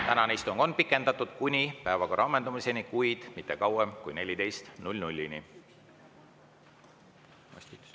Tänane istung on pikendatud kuni päevakorra ammendumiseni, kuid mitte kauem kui kella 14‑ni.